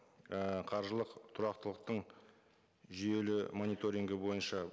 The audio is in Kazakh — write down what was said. і қаржылық тұрақтылықтың жүйелі мониторингі бойынша